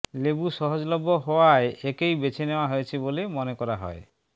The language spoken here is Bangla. লেবু সহজলভ্য হওয়ায় একেই বেছে নেওয়া হয়েছে বলে মনে করা হয়